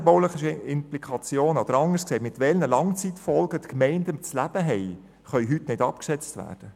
Die städtebaulichen Implikationen oder anders gesagt die Langzeitfolgen, mit denen die Gemeinden zu leben haben, können heute nicht abgeschätzt werden.